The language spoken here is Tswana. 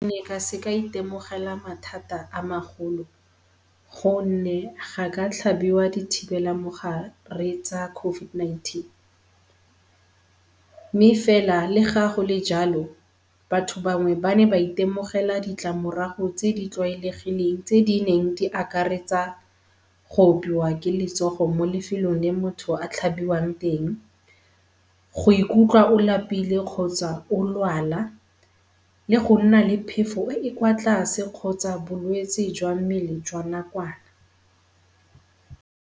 ka se ka itemogela mathata a magolo gonne ga ka tlhabela dithibelamogare tsa COVID-19. Mme fela le ga gole jalo batho ba ne ba itemogela ditlamorago tse di tlwaelegileng tse di neng di akaretsa go opiwa ke letsogo mo lefelong le motho a tlhabiwang teng, go ikutlwa o lapile kgotsa o lwala, le go nna le phefo e e kwa tlwase kgotsa bolwetsi jwa mmele jwa nakwana.